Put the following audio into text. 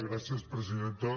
gràcies presidenta